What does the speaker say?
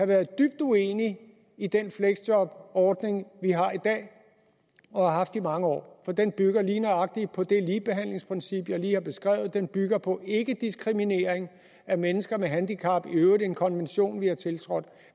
været dybt uenig i den fleksjobordning vi har i dag og har haft i mange år for den bygger lige nøjagtigt på det ligebehandlingsprincip jeg lige har beskrevet den bygger på ikkediskriminering af mennesker med handicap i øvrigt en konvention vi har tiltrådt